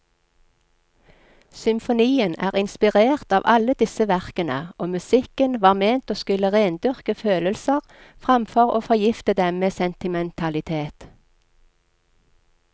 Symfonien er inspirert av alle disse verkene, og musikken var ment å skulle rendyrke følelser framfor å forgifte dem med sentimentalitet.